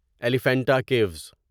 Elephanta caves